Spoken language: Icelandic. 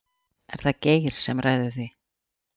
Er það Geir sem ræður því?